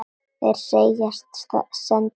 Þeir segjast senda þér bréfin.